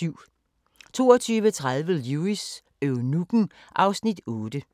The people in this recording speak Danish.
22:30: Lewis: Eunukken (Afs. 8)